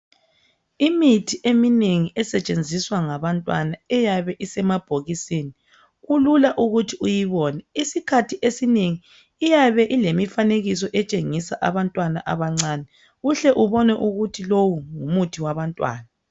Imithi eminengi esetshenziswa ngabantwana iyabe isemabhokisini kulula ukuthi uyibone isikhathi esinengi iyabe ilemifanekiso etshengisa abantwana abancane uhle ubone ukuthi lowo ngumuthi wabantwana.